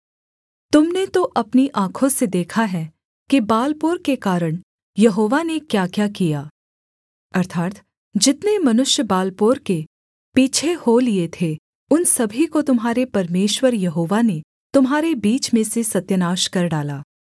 तुम ने तो अपनी आँखों से देखा है कि बालपोर के कारण यहोवा ने क्याक्या किया अर्थात् जितने मनुष्य बालपोर के पीछे हो लिये थे उन सभी को तुम्हारे परमेश्वर यहोवा ने तुम्हारे बीच में से सत्यानाश कर डाला